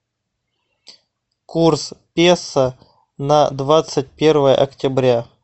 курс песо на двадцать первое октября